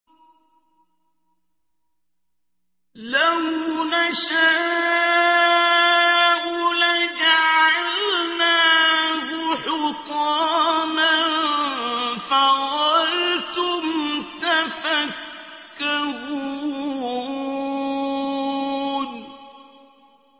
لَوْ نَشَاءُ لَجَعَلْنَاهُ حُطَامًا فَظَلْتُمْ تَفَكَّهُونَ